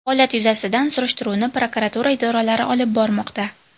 Holat yuzasidan surishtiruvni prokuratura idoralari olib bormoqda.